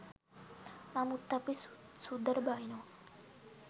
නමුත් අපි සුද්දට බනිනවා